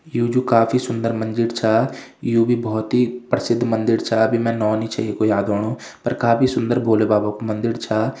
यु जू काफी सुंदर मंदिर छा यु भी भौत ही प्रसिद्ध मंदिर का अभी मैं नौ नी छई येकू याद औणू पर काफी सुन्दर भोलेबाबा कु मंदिर छा।